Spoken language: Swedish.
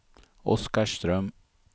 Oskarström